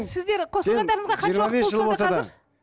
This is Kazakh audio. сіздер қосылғандарыңызға